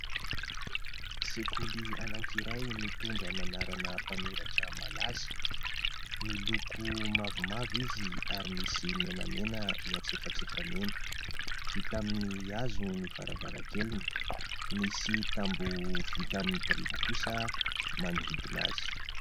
Sekoly anankiray : mitondra ny anarana mpanoratra malaza, miloko mavomavo izy ary misy menamena eny antsefatsefany eny, vita amin'ny hazo ny varavarakeliny, misy tamboho vita amin'ny biriky kosa manodidina azy.